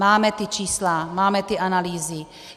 Máme ta čísla, máme ty analýzy.